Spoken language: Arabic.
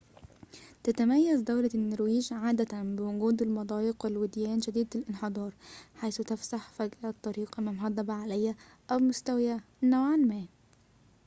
تتميز دولة النرويج عادةً بوجود المضايق والوديان شديدة الانحدار حيث تفسح فجأة الطريق أمام هضبة عالية أو مستوية نوعاً ما